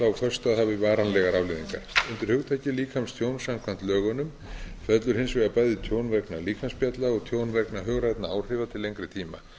hafi varanlegar afleiðingar undir hugtakið líkamstjón samkvæmt lögunum fellur hins vegar bæði tjón vegna líkamsspjalla og tjón vegna hugrænna áhrifa til lengri tíma